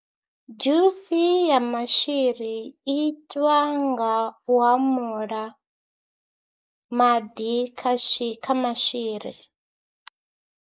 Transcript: Dzhusi ya maswira i itwa nga u hamula maḓi kha shi kha maswiri.